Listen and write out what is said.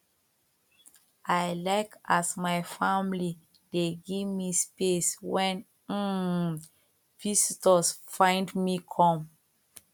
i like as my family dey give me space wen um visitors find me come